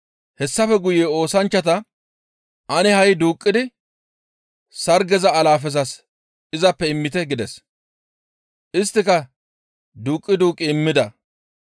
Hessafe guye oosanchchata, «Ane ha7i duuqqidi sargeza alaafezas izappe immite» gides. Isttika duuqqi duuqqi immida.